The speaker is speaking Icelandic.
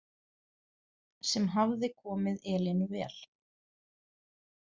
Sem hafði komið Elínu vel.